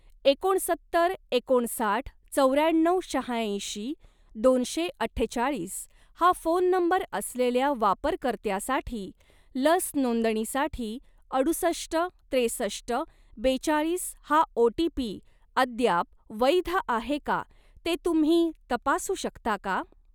एकोणसत्तर एकोणसाठ चौऱ्याण्णव शहाऐंशी दोनशे अठ्ठेचाळीस हा फोन नंबर असलेल्या वापरकर्त्यासाठी लस नोंदणीसाठी अडुसष्ट त्रेसष्ट बेचाळीस हा ओ.टी.पी. अद्याप वैध आहे का ते तुम्ही तपासू शकता का?